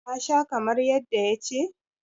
ka Sha kamar yadda ya ce?